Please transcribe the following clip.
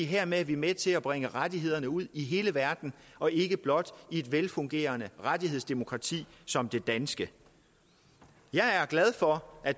hermed er vi med til at bringe rettighederne ud i hele verden og ikke blot i et velfungerende rettighedsdemokrati som det danske jeg er glad for at